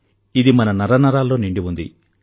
ఇది మన నరనరాల్లో నిండి ఉంది